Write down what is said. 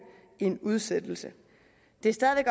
en udsættelse det er stadig